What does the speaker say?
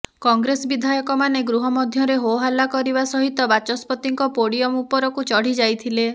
କଂଗ୍ରେସ ବିଧାୟକମାନେ ଗୃହମଧ୍ୟରେ ହୋହାଲ୍ଲା କରିବା ସହିତ ବାଚସ୍ପତିଙ୍କ ପୋଡୟମ ଉପରକୁ ଚଢି ଯାଇଥିଲେ